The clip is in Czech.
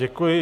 Děkuji.